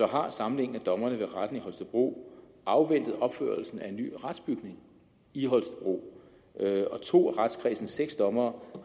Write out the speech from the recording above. har samlingen af dommerne ved retten i holstebro afventet opførelsen af en ny retsbygning i holstebro og to af retskredsens seks dommere